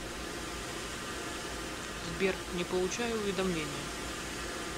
сбер не получаю уведомления